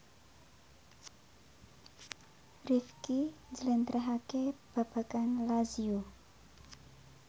Rifqi njlentrehake babagan Lazio